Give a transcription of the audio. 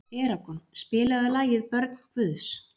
Eragon, spilaðu lagið „Börn Guðs“.